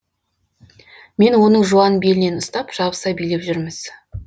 мен оның жуан белінен ұстап жабыса билеп жүрміз